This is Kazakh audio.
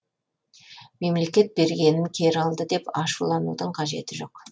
мемлекет бергенін кері алды деп ашуланудың қажеті жоқ